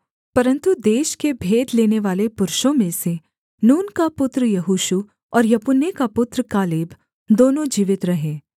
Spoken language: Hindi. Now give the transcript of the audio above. परन्तु देश के भेद लेनेवाले पुरुषों में से नून का पुत्र यहोशू और यपुन्ने का पुत्र कालेब दोनों जीवित रहे